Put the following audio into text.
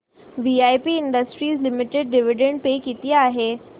VIP industries limited dividend pay किती आहे